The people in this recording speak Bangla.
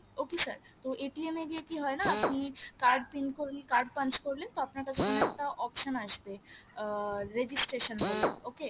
okay sir তো এ গিয়ে কি হয় না কি card pin করলে card punch করলে তো আপনার কাছে ওখানে একটা option আসবে আহ registration বলে okay